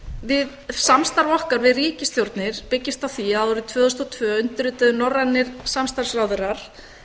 á samstarf okkar við ríkisstjórnir byggist á því að árið tvö þúsund og tvö undirrituðu norrænir samstarfsráðherrar